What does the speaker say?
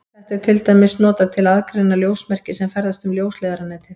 Þetta er til dæmis notað til að aðgreina ljósmerki sem ferðast um ljósleiðaranetið.